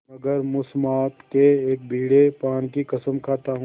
मगर मुसम्मात के एक बीड़े पान की कसम खाता हूँ